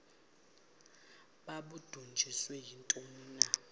babudunjiswe yintoni na